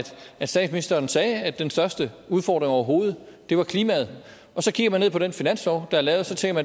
at statsministeren sagde at den største udfordring overhovedet var klimaet og så kigger man på den finanslov der er lavet og så tænker